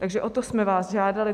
Takže o to jsme vás žádali.